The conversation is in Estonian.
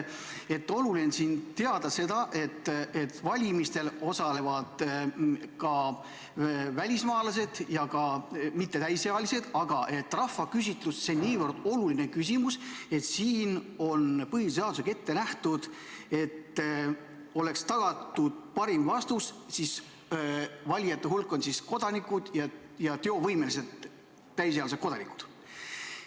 Oluline on teada, et valimistel osalevad ka välismaalased ja mittetäisealised, aga rahvaküsitlus on niivõrd oluline, et siin on põhiseadusega ette nähtud, selleks et oleks tagatud parim vastus, et valijad on kodanikud, teovõimelised täisealised kodanikud.